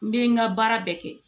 N bɛ n ka baara bɛɛ kɛ